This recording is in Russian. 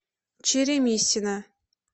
черемисина